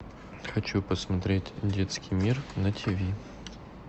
хочу посмотреть детский мир на тиви